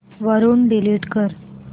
वरून डिलीट कर